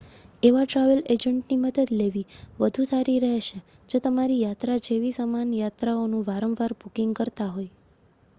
એવા ટ્રાવેલ એજન્ટની મદદ લેવી વધુ સારી રહેશે જે તમારી યાત્રા જેવી સમાન યાત્રાઓનું વારંવાર બુકિંગ કરતા હોય